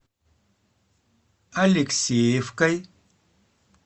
алексеевкой